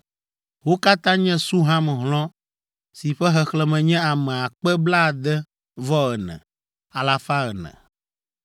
Wo katã nye Suham hlɔ̃ si ƒe xexlẽme nye ame akpe blaade-vɔ-ene, alafa ene (64,400).